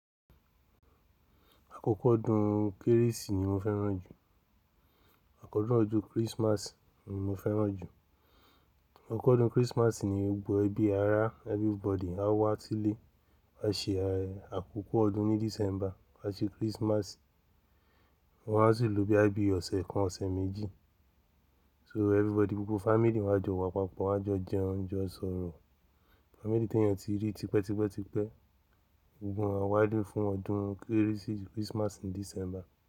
Àkókó ọdún kérésì ni mo fẹ́ràn jù. Àkọ́dún ọdún Christmas ni mo fẹ́ràn jù. Akọ́dún Christmas ni gbogbo ẹbí ará everybody á wá sílé, á ṣe àkókó ọdún ní December, á ṣe Christmas, wọn á sì lò bí i ọ̀sẹ̀ kan, ọ̀sẹ̀ méjì. So everybody gbogbo family wọn á jọ wà papọ̀, wọn á jọ jẹ oúnjẹ, jo sọ̀rọ̀. Family tí èyàn ti rí tipẹ́ tipẹ́ tipẹ́. Gbogbo wọn á wálé fún ọdún kérésì Christmas ní December.